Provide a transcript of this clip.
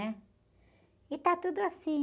né? E está tudo assim.